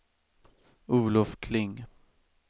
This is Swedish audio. Olof Kling